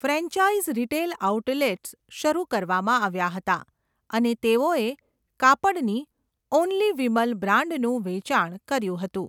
Franchise retail outlets શરૂ કરવામાં આવ્યા હતા અને તેઓએ કાપડની 'ઓન્લી વિમલ' બ્રાન્ડનું વેચાણ કર્યું હતું.